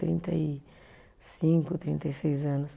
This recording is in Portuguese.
Trinta e cinco, trinta e seis anos.